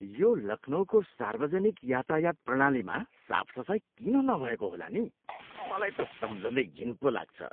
यो लखनऊको सार्वजनिक यातायात प्रणालीमा साफसफाइ किन नभएको होला नि? मलाई त सम्झँदै घिन पो लाग्छ।